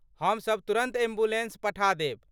हम सब तुरन्त एम्बुलेन्स पठा देब।